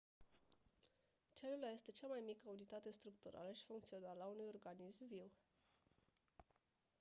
celula este cea mai mică unitate structurală și funcțională a unui organism viu